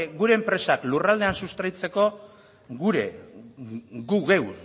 gure enpresak lurraldean sustraitzeko gu geu